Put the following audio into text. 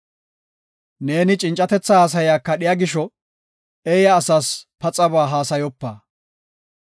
Ne cincatetha haasaya kadhiya gisho, eeya asas paxaba haasayopa.